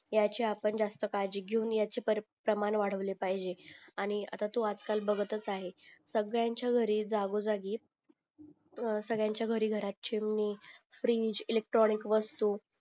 ह्याच्या आपण जास्त काळजी घेऊन प्रमाण वाढवली पाहिजे आणि आता तू आज काळ बघतच आहे सगळ्यांच्या घरी जागो जागी सगळ्यांच्या घरी घरात चिमणी फ्रिज इलेक्ट्रॉनिक वस्तू